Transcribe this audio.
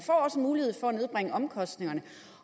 nedbringe omkostningerne